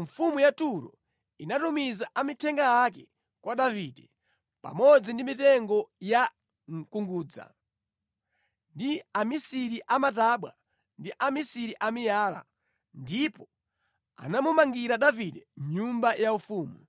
mfumu ya Turo inatumiza amithenga ake kwa Davide, pamodzi ndi mitengo ya mkungudza ndi amisiri a matabwa ndi amisiri a miyala, ndipo anamumangira Davide nyumba yaufumu.